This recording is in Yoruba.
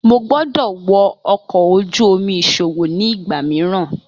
Mo gbọdọ wọ ọkọ oju-omi iṣowo ni igba miiran.